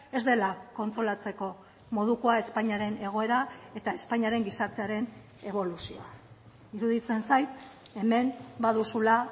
ez dela kontsolatzeko modukoa espainiaren egoera eta espainiaren gizartearen eboluzioa iruditzen zait hemen baduzula